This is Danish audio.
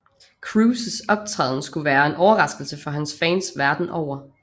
Cruises optræden skulle være en overraskelse for hans fans verdenen over